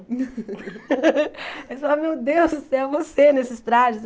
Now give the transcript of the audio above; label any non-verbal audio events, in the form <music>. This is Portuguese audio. <laughs> Eles falavam, meu Deus do céu, você nesses trajes.